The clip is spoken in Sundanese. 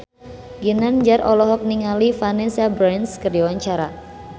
Ginanjar olohok ningali Vanessa Branch keur diwawancara